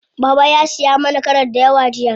Baba ya siyi ma karas dayawa jiya.